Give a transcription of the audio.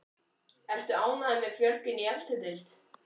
Ertu ánægður með fjölgun í efstu deild?